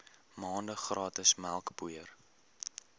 maande gratis melkpoeier